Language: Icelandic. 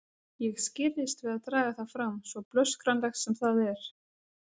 Ég skirrist við að draga það fram, svo blöskranlegt sem það er.